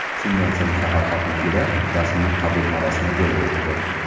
Shundan so‘ng shahar hokimligida rasmiy qabul marosimi bo‘lib o‘tdi.